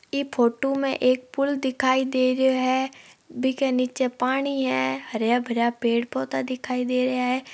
यह फोटो में एक पुल दिखाई दे रहा है बिके नीचे पानी है हरा भरा पेड़ पौधा दिखाई दे रहा है।